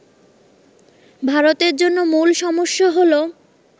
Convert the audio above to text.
ভারতের জন্য মূল সমস্যা হল